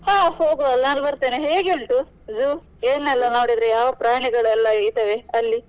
ಹಾ ಹೋಗುವ ನಾನು ಬರ್ತೇನೆ ಹೇಗೆ ಉಂಟು zoo ಏನೆಲ್ಲ ಅಂದ್ರೆ ಯಾವ ಪ್ರಾಣಿಗಳೆಲ್ಲ ಇದಾವೆ ಅಲ್ಲಿ?